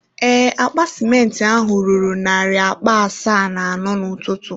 Ee, akpa simenti ahụ ruru narị akpa asaa na anọ n’ụtụtụ.